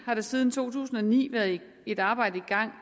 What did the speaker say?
har der siden to tusind og ni været et arbejde i gang